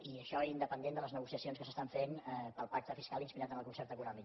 i això independentment de les negociacions que es fan pel pacte fiscal inspirat en el concert econòmic